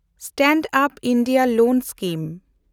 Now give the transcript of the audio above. stand-up India loan scheme